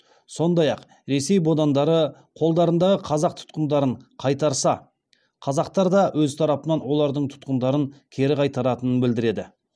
сондай ақ ресей бодандары қолдарындағы қазақ тұтқындарын қайтарса қазақтар да өз тарапынан олардың тұтқындарын кері қайтаратынын білдіреді